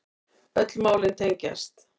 Öll málin tengjast